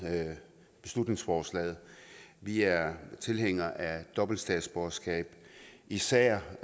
beslutningsforslaget vi er tilhængere af dobbelt statsborgerskab især